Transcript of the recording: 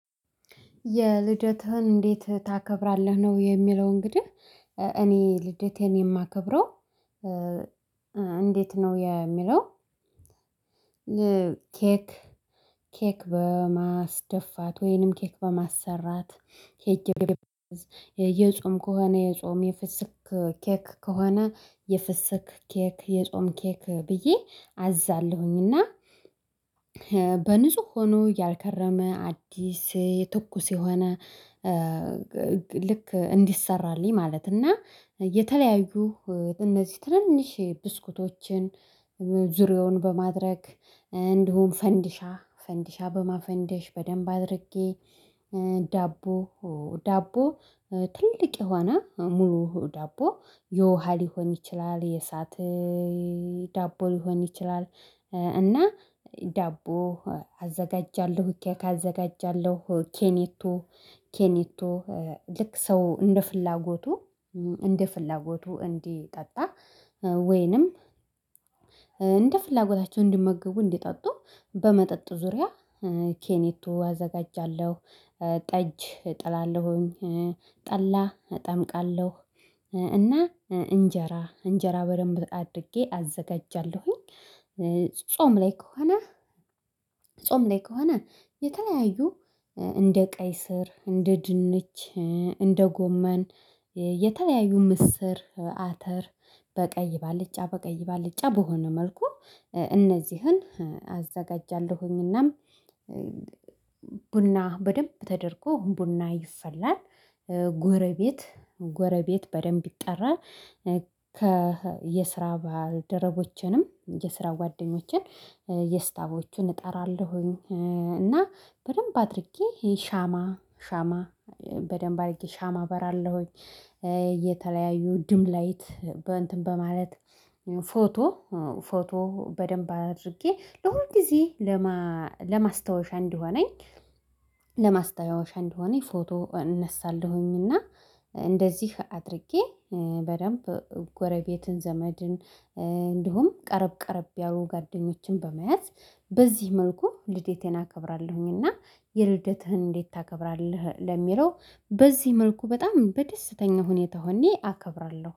የልደትህን እንዴት ታከብራለህ? ነው የሚለው እንግዲህ እኔ ልደቴን የማከብረው እንዴት ነው የሚለው። ኬክ ኬክ በማስደፋት ወይንም ኬክ በማሰራት ሄጄ የጾም ከሆነ የጾም የፍስክ ኬክ ከሆነ የፍስክ ኬክ የጾም ኬክ ብዬ አዛለሁኝ። እና በንጹህ ሆኖ ያልከረመ አዲስ ትኩስ የሆነ ልክ እንዲሰራልኝ። ማለት እና የተለያዩ እነዚህ ትንንሽ ብስኩቶችን ዙሪያውን በማድረግ እንዲሁም ፈንዲሻ ፈንዲሻ በማፈንደሽ በደንብ አድርጌ። ዳቦ ዳቦ ትልቅ የሆነ ሙሉ ዳቦ የውሃ ሊሆን ይችላል የእሳት ዳቦ ሊሆን ይችላል። እና ዳቦ አዘጋጃለሁ ኬክ አዘጋጃለሁ ኬኔቶ ኬኔቶ ልክ ሰው እንደ ፍላጎቱ እንደ ፍላጎቱ እንዲጠጣ። ወይንም እንደ ፍላጎታቸው እንዲመገቡ እንዲጠጡ በመጠጥ ዙሪያ ኬኔቱ አዘጋጃለሁ። ጠጅ አጥላለሁኝ ጠላ እጠምቃለሁ እና እንጀራ እንጀራ በደንብ አድርጌ አዘጋጃለሁኝ። ጾም ላይ ከሆነ ጾም ላይ ከሆነ የተለያዩ እንደ ቀይ ስር እንደ ድንች እንደ ጎመን የተለያዩ ምስር አተር በቀይ ባልጫ በቀይ ባልጫ በሆነ መልኩ እነዚህን አዘጋጃለሁኝናም። ቡና በደንብ ተደርጎ ቡና ይፈላል። ጎረቤት ጎረቤት በደንብ ይጠራል። ከየስራ ባልረቦችንም የስራ ጓደኞችን የስታቦችን እጠራለሁኝ። እና በደንብ አድርጌ ሻማ በደንብ አድርጌ ሻማ አበራለሁኝ። የተለያዩ ድምላይት በእንትን በማለት ፎቶ ፎቶ በደንብ አድርጌ ለሁል ጊዜ ለማስታወሻ እንዲሆነኝ ለማስታወሻ እንዲሆነኝ ፎቶ እነሳለሁኝና። እንደዚህ አድርጌ በደንብ ጎረቤትን ዘመድን እንዲሁም ቀረብ ቀረብ ያው ጉዋደኞችን በመያዝ በዚህ መልኩ ልዴቴን አከብራለሁኝና። የልደትህን እንዴት ታከብራለህ? ለሚለው በዚህ መልኩ በጣም በደስተኛ ሁኔታ ሁኔ አከብራለሁ